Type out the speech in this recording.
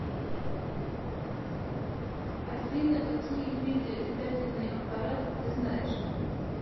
афина какие виды летательный аппарат ты знаешь